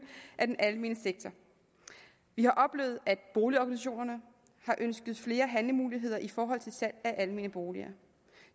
af den almene sektor vi har oplevet at boligorganisationerne har ønsket flere handlemuligheder i forhold til salg af almene boliger